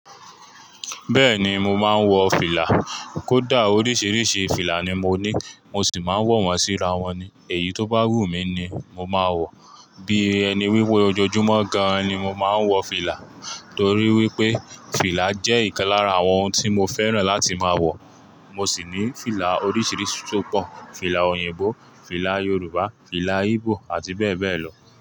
Bẹ́ẹ̀ni mo máa ń wọ fìlà, kódà oríṣìíríṣìí fìlà ni mo ní mo sì máa ń wọ̀ wọ́n síra wọn ni èyí tó bá wù mí ni mo máa wọ̀. Bí ẹni wíwó ojoojúmọ́ gan ni mo máa ń wọ fìlà torí wípé fìlà jẹ́ ìkan lára àwọn ohun tí mo fẹ́ràn láti máa wọ̀. Mo sì ní fìlà oríṣìíríṣìí tó pọ̀, fìlà òyìnbó, fìlà Yorùbá, fìlà Íbò àti bẹ́ẹ̀ bẹ́ẹ̀ lọ.